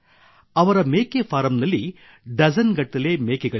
ಅವರ ಮೇಕೆ ಫಾರಂನಲ್ಲಿ ಡಜನ್ ಗಟ್ಟಲೆ ಮೇಕೆಗಳಿವೆ